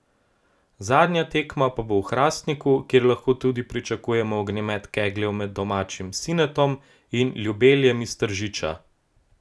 Zadnja tekma pa bo v Hrastniku, kjer lahko tudi pričakujemo ognjemet kegljev med domačim Sinetom in Ljubeljem iz Tržiča.